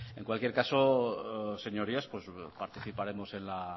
en cualquier caso señorías participaremos de